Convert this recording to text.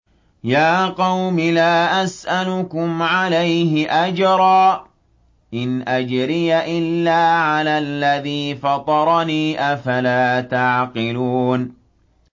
يَا قَوْمِ لَا أَسْأَلُكُمْ عَلَيْهِ أَجْرًا ۖ إِنْ أَجْرِيَ إِلَّا عَلَى الَّذِي فَطَرَنِي ۚ أَفَلَا تَعْقِلُونَ